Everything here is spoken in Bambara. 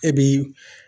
E b'i